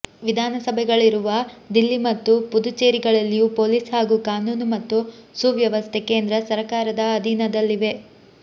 ವಿಧಾನಸಭೆಗಳಿರುವ ದಿಲ್ಲಿ ಮತ್ತು ಪುದುಚೇರಿಗಳಲ್ಲಿಯೂ ಪೊಲೀಸ್ ಹಾಗೂ ಕಾನೂನು ಮತ್ತು ಸುವ್ಯವಸ್ಥೆ ಕೇಂದ್ರ ಸರಕಾರದ ಅಧೀನದಲ್ಲಿವೆ